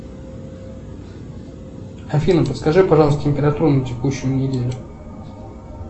афина подскажи пожалуйста температуру на текущую неделю